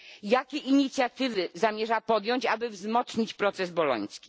Jakie inicjatywy zamierza podjąć, aby wzmocnić proces boloński?